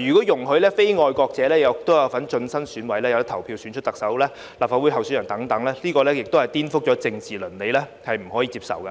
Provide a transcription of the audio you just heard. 如果容許非愛國者有份進身選委，可以投票選出特首及提名立法會議員候選人等，這是顛覆政治倫理，不可以接受。